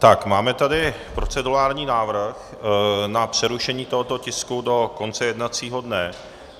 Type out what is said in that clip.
Tak, máme tady procedurální návrh na přerušení tohoto tisku do konce jednacího dne.